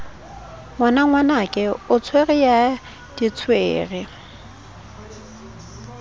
ngwanangwanake o tswere ya ditswere